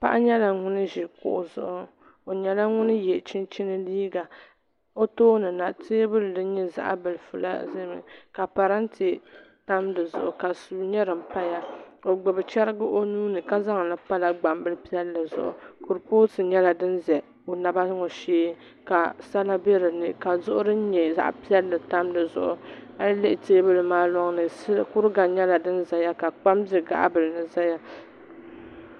Paɣa nyɛla ŋun ʒi kuɣu zuɣu o nyɛla ŋun yɛ chinchin liiga o tooni na teebuli din nyɛ zaɣ bilifi la ʒɛmi ka parantɛ tam di zuɣu ka suu nyɛ din paya o gbubi chɛrigi o nuuni ka zaŋli pala gbambili piɛlli zuɣi kuripooti nyɛla din ʒɛ o naba ŋo shee ka sala bɛ dinni ka duɣu din nyɛ zaɣ piɛlli tam di zuɣu a yi lihi teebuli maa loŋni kuriga nyɛla din ʒɛya la kpam bɛ gaɣa bili ni ʒɛya